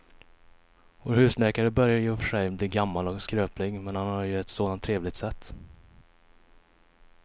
Vår husläkare börjar i och för sig bli gammal och skröplig, men han har ju ett sådant trevligt sätt!